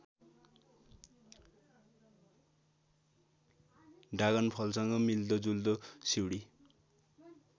ड्रागनफलसँग मिल्दोजुल्दो सिउँडी